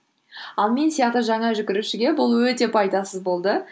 ал мен сияқты жаңа жүгірушіге бұл өте пайдасыз болды